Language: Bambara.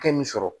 Hakɛ min sɔrɔ